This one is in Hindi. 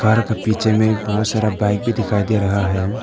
कार का पीछे में बहुत सारा बाइक भी दिखाई दे रहा है।